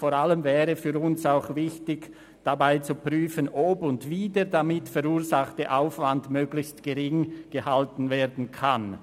Vor allem wäre aus unserer Sicht wichtig zu prüfen, ob und wie der damit verursachte Aufwand möglichst gering gehalten werden kann.